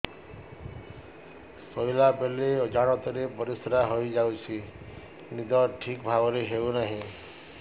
ଶୋଇଲା ବେଳେ ଅଜାଣତରେ ପରିସ୍ରା ହୋଇଯାଉଛି ନିଦ ଠିକ ଭାବରେ ହେଉ ନାହିଁ